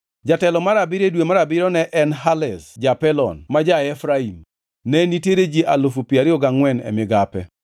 Jatelo mar abiriyo, e dwe mar abiriyo ne en Helez ja-Pelon ma ja-Efraim. Ne nitiere ji alufu piero ariyo gangʼwen (24,000) e migape.